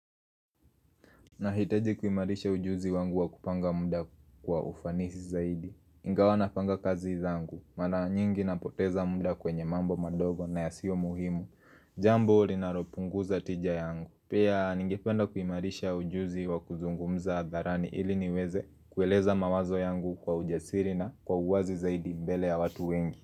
Nahitaji kuimarisha ujuzi wangu wa kupanga muda kwa ufanisi zaidi Ingawa napanga kazi zangu Mara nyingi napoteza muda kwenye mambo madogo na yasiyo muhimu Jambo linalopungu za tija yangu Pia ningependa kuimarisha ujuzi wa kuzungumza hadharani ili niweze kueleza mawazo yangu kwa ujasiri na kwa uwazi zaidi mbele ya watu wengi.